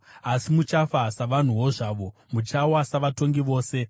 Asi muchafa savanhuwo zvavo; muchawa savatongi vose.”